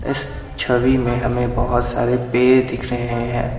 इस छवि में हमें बहुत सारे पेड़ दिख रहे हैं।